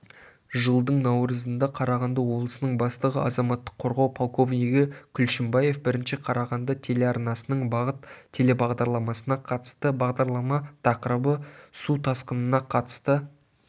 жылдың наурызында қарағанды облысының бастығы азаматтық қорғау полковнигі күлшімбаев бірінші қарағанды телеарнасының бағыт телебағдарламасына қатысты бағдарлама тақырыбы су тасқынына қатысты